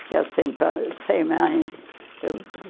Fiquei sem pai e sem mãe. Eu